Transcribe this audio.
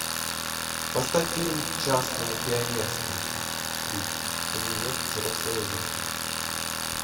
поставь фильм частное пионерское три привет взрослая жизнь